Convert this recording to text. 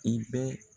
I bɛ